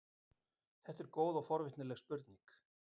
Þetta er góð og forvitnileg spurning.